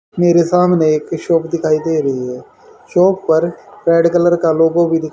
मेरे सामने एक शॉप दिखाई दे रही है शॉप पर रेड कलर का लोगो भी --